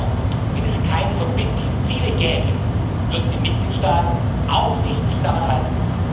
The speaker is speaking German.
Ich glaube nur, wenn es keine verbindlichen Ziele gäbe, würden die Mitgliedstaaten sich auch nicht daran halten.